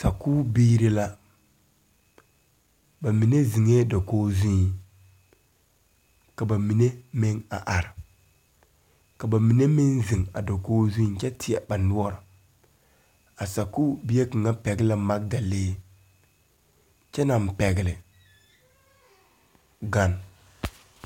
Sakuure biire la ba mine zeŋɛɛ dokoge zuiŋ ka ba mine meŋ a are ka ba mine meŋ zeŋ a dokoge zuiŋ kyɛ teɛ ba noɔre a sakuure bie kaŋa pɛgle la magdalee kyɛ naŋ pɛgle gan.